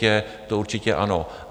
To určitě ano.